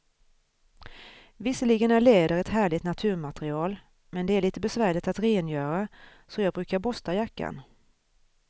Visserligen är läder ett härligt naturmaterial, men det är lite besvärligt att rengöra, så jag brukar borsta jackan.